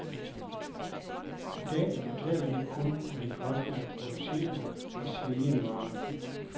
I dag betaler de kun, hvad det koster at producere og sælge en vare.